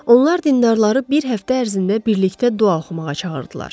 Onlar dindarları bir həftə ərzində birlikdə dua oxumağa çağırdılar.